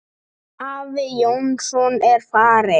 Afi Jónsson er farinn.